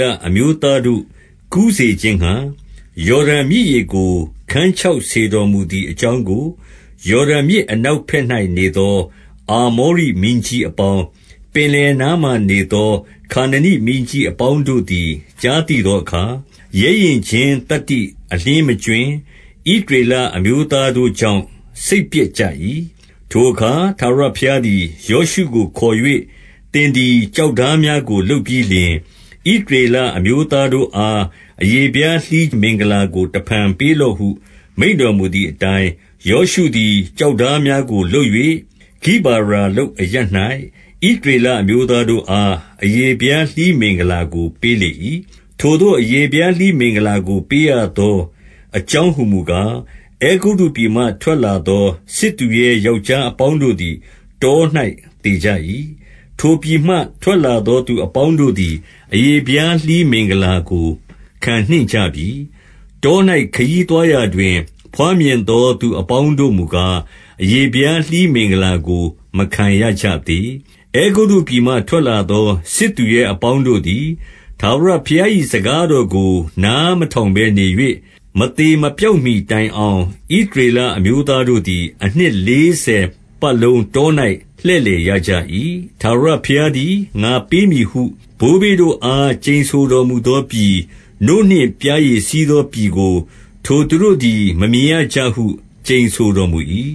လအမျိုးသားတို့ ကူးစေခြင်းငှါ၊ ယော်ဒန်မြစ်ရေကို ခန်းခြောက်စေတော် မူသည်အကြောင်းကို၊ ယော်ဒန်မြစ်အနောက်ဘက်၌ နေသော အာမောရိမင်းကြီးအပေါင်း၊ ပင်လယ်နားမှာ နေသောခါနနိမင်းကြီးအပေါင်းတို့သည် ကြားသိသော အခါ၊ ရဲရင့်ခြင်းသတ္တိ အလျှင်းမကြွင်း၊ ဣသရေလအမျိုး သားတို့ကြောင့် စိတ်ပျက်ကြ၏။ 2 ထိုအခါ ထာဝရဘုရားသည် ယောရှုကိုခေါ်၍၊ သင်သည် ကျောက်ထားများကို လုပ်ပြီးလျှင်၊ ဣသရေလ အမျိုးသားတို့အား အရေဖျားလှီးမင်္ဂလာကို တဖန်ပေး လော့ဟု မိန့်တော်မူသည်အတိုင်း၊ 3 ယောရှုသည် ကျောက်ထားများကို လုပ်၍ ဂိဘာရာလုတ်အရပ်၌ ဣသရေလအမျိုးသားတို့အား အရေဖျားလှီးမင်္ဂလာကို ပေးလေ၏။ 4 ထိုသို့ အရေဖျားလှီးမင်္ဂလာကို ပေးရသောအ ကြောင်း ဟူမူကား၊ အဲဂုတ္တုပြည်မှထွက်လာသော စစ်သူရဲ ယောက်ျားအပေါင်းတို့သည် တော၌သေကြ၏။ 5 ထိုပြည်မှထွက်လာသော သူအပေါင်းတို့သည် အရေဖျားလှီးမင်္ဂလာကို ခံနှင့်ကြပြီ။ တော၌ ခရီးသွားရာ တွင် ဘွားမြင်သော သူအပေါင်းတို့မူကား အရေဖျားလှီး မင်္ဂလာကို မခံရကြသေး။ 6 အဲဂုတ္တုပြည်မှထွက်လာသော စစ်သူရဲအပေါင်း တို့သည် ထာဝရဘုရား၏ စကားတော်ကို နားမထောင်ဘဲ နေ၍၊ မသေမပျောက်မှီတိုင်အောင် ဣသရေလအမျိုး သားတို့သည် အနှစ်လေးဆယ်ပတ်လုံး တော၌ လှည့် လည်ရကြ၏။ ထာဝရဘုရားသည်၊ ငါပေးမည်ဟု ဘိုး ဘေးတို့အား ကျိန်ဆိုတော်မူသောပြည်၊ နို့နှင့်ပျားရည်စီး သောပြည်ကို ထိုသူတို့သည် မမြင်ရကြဟု ကျိန်ဆိုတော် မူ၏။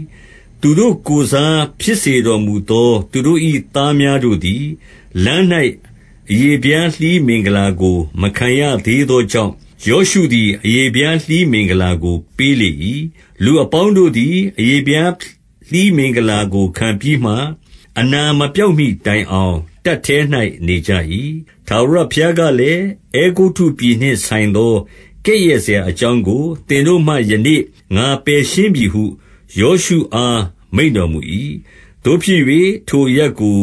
7 သူတို့ကိုယ်စား ဖြစ်စေတော်မူသော သူတို့၏ သားများတို့သည်၊ လမ်း၌ အရေဖျားလှီးမင်္ဂလာကို မခံရ သေးသောကြောင့်၊ ယောရှုသည် အရေဖျားလှီးမင်္ဂလာကို ပေးလေ၏။ 8 လူအပေါင်းတို့သည် အရေဖျားလှီးမင်္ဂလာကို ခံပြီးမှ၊ အနာမပျောက်မှီတိုင်အောင် တပ်ထဲ၌ နေကြ၏။ 9 ထားဝရဘုရားကလည်း၊ အဲဂုတ္တုပြည်နှင့် ဆိုင် သော ကဲ့ရဲ့စရာအကြောင်းကို သင်တို့မှ ယနေ့ ငါပယ် ရှင်းပြီဟု ယောရှုအား မိန့်တော်မူ၏။ သို့ဖြစ်၍ ထိုအရပ် ကို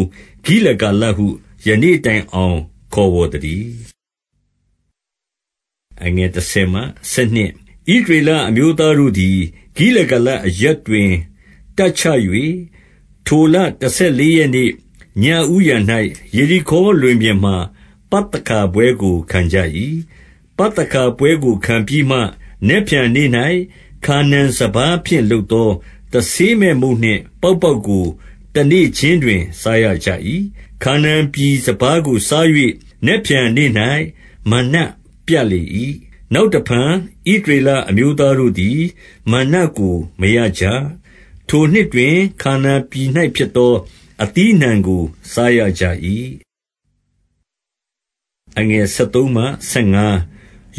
ဂိလဂါလဟု ယနေ့တိုင်အောင် ခေါ်ဝေါ်သတည်း။ 10 ဣသရေလအမျိုးသားတို့သည် ဂိလဂါလအရပ် တွင် တပ်ချ၍၊ ထိုလတဆယ်လေးရက်နေ့၊ ညဦးယံ၌ ယေရိခေါလွင်ပြင်မှာ ပသခါပွဲကို ခံကြ၏။ 11 ပသခါပွဲကို ခံပြီးမှ၊ နက်ဖြန်နေ့၌ ခါနာန်စပါးဖြင့် လုပ်သော တဆေးမဲ့မုန့်နှင့် ပေါက်ပေါက်ကို တနေ့ခြင်း တွင် စားရကြ၏။ 12 ခါနာန်ပြည် စပါးကို စား၍၊ နက်ဖြန်နေ့၌ မနွ ပြတ်လေ၏။ နောက်တဖန် ဣသရေလအမျိုးသားတို့ သည် မနွကိုမရကြ။ ထိုနှစ်တွင် ခါနာန်ပြည်၌ဖြစ်သော အသီးအနှံ့ကို စားရကြ၏။ 13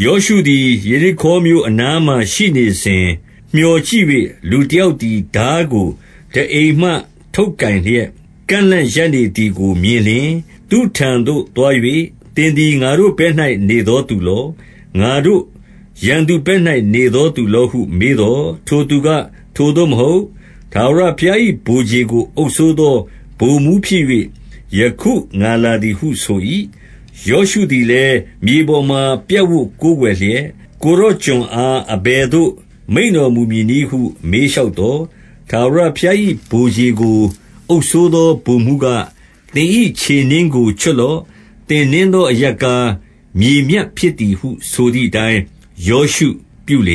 ယောရှုသည် ယေရိခေါမြို့အနားမှာ ရှိနေစဉ် မြော်ကြည့်၍၊ လူတယောက်သည် ထားကိုထားအိမ်မှ ထုတ်ကိုင်လျက်၊ ကန့်လန့်ရပ်နေသည်ကို မြင်လျှင်၊ သူ့ထံသို့ သွား၍ သင်သည်ငါတို့ဘက်၌နေသောသူလော၊ ငါတို့ရန် သူဘက်၌နေသောသူလောဟုမေးသော်၊ 14 ထိုသူက၊ ထိုသို့မဟုတ်၊ ထာဝရဘုရား၏ဗိုလ်ခြေ ကိုအုပ်စိုးသော ဗိုလ်မှူးဖြစ်၍ ယခုငါလာသည်ဟုဆို၏။ ယောရှုသည်လည်း မြေပေါ်မှာ ပြပ်ဝပ်ကိုးကွယ်လျက်၊ ကိုယ်တော်ကျွန်အား အဘယ်သို့ မိန့်တော်မူမည်နည်းဟု မေးလျှောက်သော်၊ 15 ထာဝရဘုရား၏ ဗိုလ်ခြေကိုအုပ်စိုးသော ဗိုလ် မှူးက၊ သင်၏ခြေနင်းကို ချွတ်လော့။ သင်နင်းသောအ ရပ်ကား မြေမြတ်ဖြစ်သည်ဟု ဆိုသည်အတိုင်း ယောရှုပြု လေ